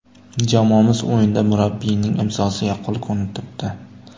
Jamoamiz o‘yinida murabbiyining ‘imzosi’ yaqqol ko‘rinib turibdi.